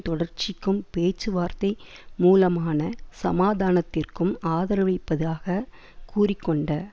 தொடர்ச்சிக்கும் பேச்சுவார்த்தை மூலமான சமாதானத்திற்கும் ஆதரவளிப்பதாக கூறி கொண்ட